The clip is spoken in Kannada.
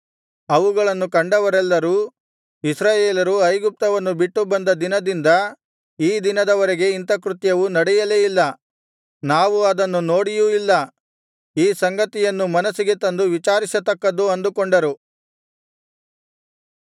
ಅವುಗಳನ್ನು ಕಂಡವರೆಲ್ಲರೂ ಇಸ್ರಾಯೇಲರು ಐಗುಪ್ತವನ್ನು ಬಿಟ್ಟು ಬಂದ ದಿನದಿಂದ ಈ ದಿನದವರೆಗೆ ಇಂಥ ಕೃತ್ಯವು ನಡೆಯಲೇ ಇಲ್ಲ ನಾವು ಅದನ್ನು ನೋಡಿಯೂ ಇಲ್ಲ ಈ ಸಂಗತಿಯನ್ನು ಮನಸ್ಸಿಗೆ ತಂದು ವಿಚಾರಿಸತಕ್ಕದ್ದು ಅಂದುಕೊಂಡರು